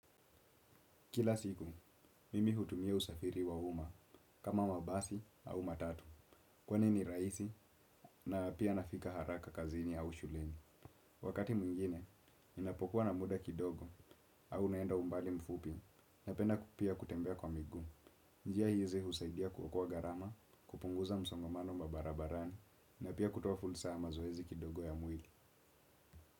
Kila siku, mimi hutumia usafiri wa uma kama wabasi au matatu kwani ni rahisi na pia nafika haraka kazini au shuleni. Wakati mwingine ninapokuwa na muda kidogo au naenda umbali mfupi napenda pia kutembea kwa miguu. Njia hizi husaidia kuokoa gharama, kupunguza msongamano mabarabarani na pia kutoa fursa ya mazoezi kidogo ya mwili.